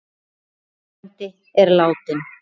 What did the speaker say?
Eggert frændi er látinn.